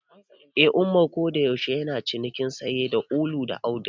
Eh, Umar kodayaushe yana ciniki sanye da ulu da auduga.